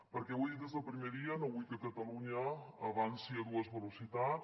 perquè ho he dit des del primer dia no vull que catalunya avanci a dues veloci·tats